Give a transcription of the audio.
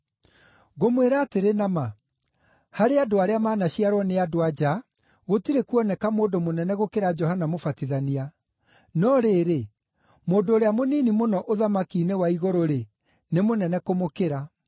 Ngũmwĩra atĩrĩ na ma: Harĩ andũ arĩa manaciarwo nĩ andũ-a-nja, gũtirĩ kuoneka mũndũ mũnene gũkĩra Johana Mũbatithania; no rĩrĩ mũndũ ũrĩa mũnini mũno ũthamaki-inĩ wa igũrũ-rĩ, nĩ mũnene kũmũkĩra.